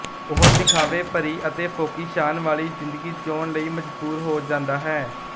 ਉਹ ਦਿਖਾਵੇ ਭਰੀ ਅਤੇ ਫੋਕੀ ਸ਼ਾਨ ਵਾਲੀ ਜ਼ਿੰਦਗੀ ਜਿਊਣ ਲਈ ਮਜਬੂਰ ਹੋ ਜਾਂਦਾ ਹੈ